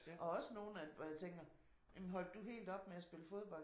Og også nogen hvor jeg tænker jamen holdt du helt op med at spille fodbold?